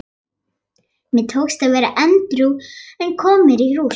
Mér tókst að vera edrú en kom heim í rúst.